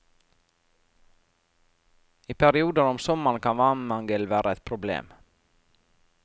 I perioder om sommeren kan vannmangel være et problem.